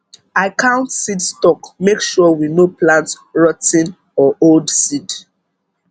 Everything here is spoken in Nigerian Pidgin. i count seed stock make sure we no plant rot ten or old seed